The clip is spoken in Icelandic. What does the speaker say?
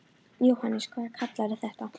Jóhannes: Hvað kallarðu þetta?